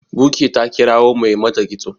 buky ta kirawo Mai mata kitso